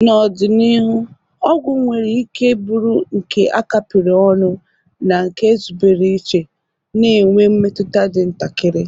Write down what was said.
N'ọdịnihu, ọgwụ nwere ike bụrụ nke a kapịrị ọnụ na nke ezubere iche, na-enwe mmetụta dị ntakịrị.